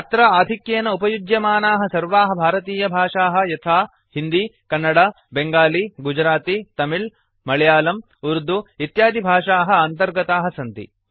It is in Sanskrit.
अत्र आधिक्येन उपयुज्यमानाः सर्वाः भारतीयभाषाः यथा हिन्दी कन्नड बेंगालि गुजराति तलिळ मळयालम् उर्दु इत्यादिभाषाः अन्तर्गताः सन्ति